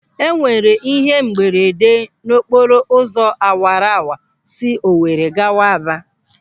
E nwere ihe mberede n'okporo ụzọ awara wara si Owere gawa Aba.